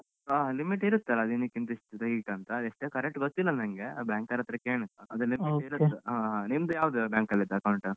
ಹಾ limit ಇರುತ್ತಲ್ಲ ದಿನಕ್ಕೆ ಇಂತಿಷ್ಟು ತೆಗಿಯೋಕ್ಕೆ ಅಂತ ಅದ್ ಎಷ್ಟು correct ಗೊತ್ತಿಲ್ಲ ನನ್ಗೆ banker ಅತ್ರ ಕೇಳ್ಬೇಕು ಅದು limit ಇರುತ್ತೆ ಹಾ ನಿಮ್ದು ಯಾವ್ದು bank ಅಲ್ಲಿ ಇದ್ದ account ?